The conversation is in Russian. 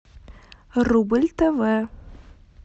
рубль тв